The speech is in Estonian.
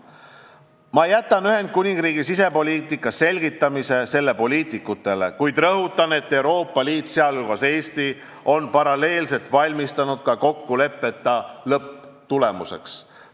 Ma jätan Ühendkuningriigi sisepoliitika selgitamise poliitikutele, kuid rõhutan, et Euroopa Liit, sh Eesti on paralleelselt valmistunud ka kokkuleppeta lõpptulemuseks.